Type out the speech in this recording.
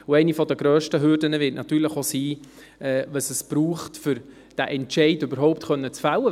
Eine der grössten Hürden wird natürlich auch sein, was es braucht, um diesen Entscheid überhaupt fällen zu können.